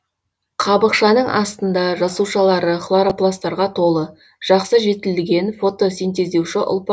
қабықшаның астында жасушалары хлоропластарға толы жақсы жетілген фотосинтездеуші ұлпа